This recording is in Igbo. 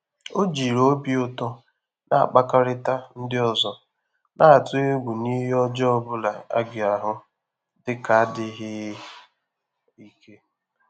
Ọ́ jìrì óbì ụ́tọ́ nà-àkpàkọ́rị́tà ndị́ ọ́zọ́, nà-àtụ́ égwú nà ìhè ọ́jọ́ọ́ ọ́ bụ́lá á gà-àhụ́ dị́ kà ádị́ghị́ íké.